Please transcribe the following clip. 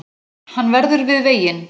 Hann verður við veginn